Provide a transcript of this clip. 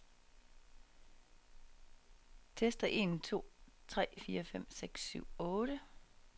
Tester en to tre fire fem seks syv otte.